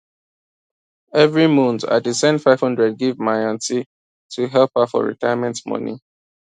every month i dey send 500 give my aunty to help her for retirement money